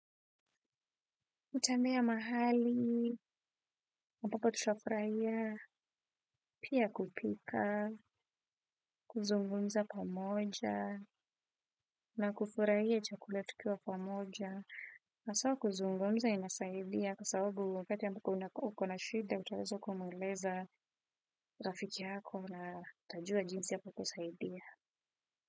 Kutembea mahali ambapo tutafurahia, pia kupika, kuzungumza pamoja, na kufurahia chakula tukiwa pamoja. Haswa kuzungumza inasaidia kwa sababu wakati ambapo uko na shida, utaweza kumweleza rafiki yako na atajua jinsi atakusaidia.